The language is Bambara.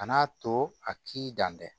Kan'a to a k'i dan tɛ